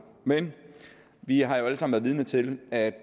men vi har jo alle sammen været vidne til at